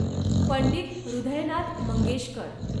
Pandit Hridaynath Mangeshkar